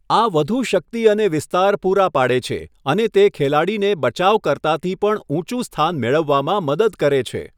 આ વધુ શક્તિ અને વિસ્તાર પૂરા પાડે છે અને તે ખેલાડીને બચાવકર્તાથી પણ ઊંચું સ્થાન મેળવવામાં મદદ કરે છે.